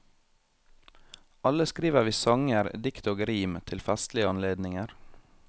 Alle skriver vi sanger, dikt og rim til festlige anledninger.